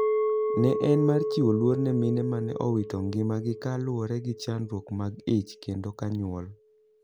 Ne en mar chiwo luor ne mine mane owito ng'ima gi kaluwore gi chandruok mag ich kendo kanyuol.